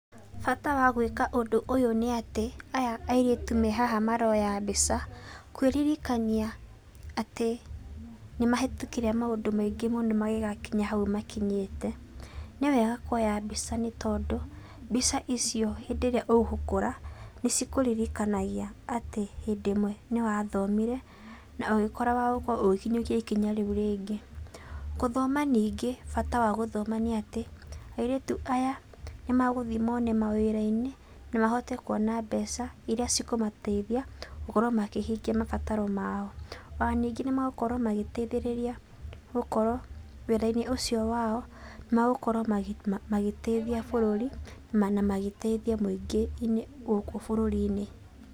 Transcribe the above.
Bata wa gũĩka ũndũ ũyũ nĩ atĩ, aya airĩtu me haha maroya mbica kwĩririkania atĩ nĩmahetũkĩire maũndũ maingĩ mũno magĩgakinya hau makinyĩte. Nĩwega kuoya mbica, nĩ tondũ mbica icio hĩndĩ rĩrĩa ũgũkora nĩcikũririkanagia atĩ hĩndĩ ĩmwe nĩwathomire na ũgĩkorwo wĩ wa gũkorwo ũgĩkinyũkia ikinya rĩu rĩngĩ. Gũthoma ningĩ bata wa gũthoma nĩ atĩ airĩtu aya nĩmagũthiĩ mone mawĩra-inĩ na mahote kuona mbeca iria cikũmateithia gũkorwo makĩhingia mabataro mao. Ona ningĩ nĩmagũkorwo magĩteithĩrĩria gũkorwo wĩra-inĩ ũcio wao, nĩmagũkorwo magĩteithia bũrũri na magĩteithia mũingĩ-inĩ gũkũ bũrũri-inĩ.